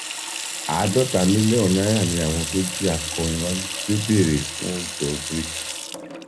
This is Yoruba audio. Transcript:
àádọta mílíọnù náírà ni àwọn tó jí akọrin wa gbé ń béèrè fún ìjọ bric